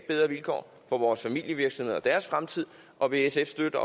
bedre vilkår for vores familievirksomheder og deres fremtid og vil sf støtte